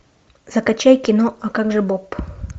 закачай кино а как же боб